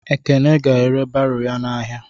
Ekene ga-ere baro ya n'ahịa.